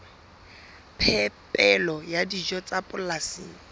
phepelo ya dijo tsa polasing